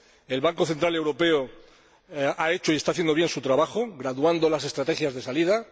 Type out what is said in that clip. El Banco Central Europeo ha hecho y está haciendo bien su trabajo, graduando las estrategias de salida.